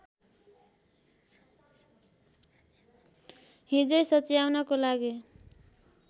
हिज्जे सच्याउनको लागि